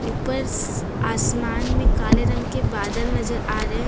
ऊपर आसमान में काले रंग के बादल नजर आ रहे हैं।